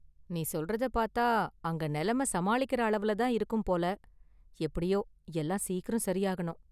நீ​ சொல்றத பார்த்தா அங்க நிலமை சமாளிக்கிற அளவுல தான் இருக்கும் போல, எப்படியோ எல்லாம் சீக்கிரம் சரியாகணும்.